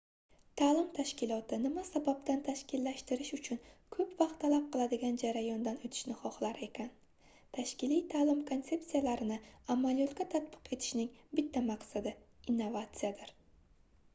taʼlim tashkiloti nima sababdan tashkillashtirish uchun koʻp vaqt talab qiladigan jarayondan oʻtishni xohlar ekan tashkiliy taʼlim konsepsiyalarini amaliyotga tatbiq etishning bitta maqsadi innovatsiyadir